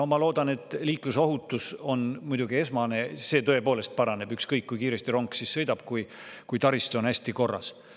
No ma loodan, et liiklusohutus on muidugi esmane, see tõepoolest paraneb, kui taristu on hästi korras, ükskõik kui kiiresti rong sõidab.